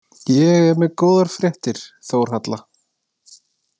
Ég er með góðar fréttir, Þórhalla